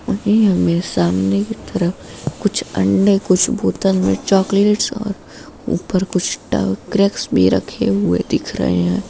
हमें सामने की तरफ कुछ अंडे कुछ बोतल में चॉकलेट्स और ऊपर कुछ टंगे क्रैक्स भी रखे हुए दिख रहे हैं।